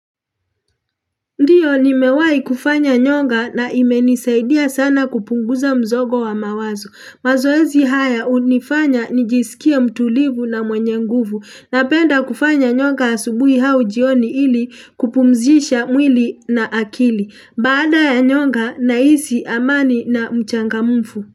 Ndiyo nimewai kufanya nyonga na imenisaidia sana kupunguza mzogo wa mawazo. Mazoezi haya unifanya nijisikie mtulivu na mwenye nguvu. Napenda kufanya nyonga asubui hau jioni ili kupumzisha mwili na akili. Baada ya nyonga nahisi amani na mchangamufu.